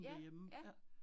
Ja, ja